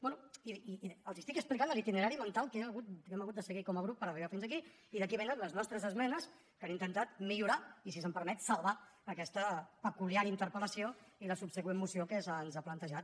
bé i els estic explicant l’itinerari mental que hem hagut de seguir com a grup per arribar fins aquí i d’aquí vénen les nostres esmenes que han intentat millorar i si se’m permet salvar aquesta peculiar interpel·lació i la subsegüent moció que se’ns ha plantejat